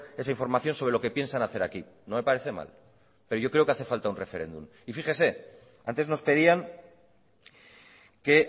esa información sobre lo que piensan hacer aquí no me parece mal pero yo creo que hace falta un referéndum y fíjese antes nos pedían que